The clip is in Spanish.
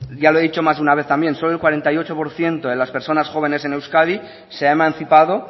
ya lo he dicho más de una vez también solo el cuarenta y ocho por ciento de las personas jóvenes en euskadi se ha emancipado